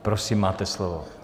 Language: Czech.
Prosím, máte slovo.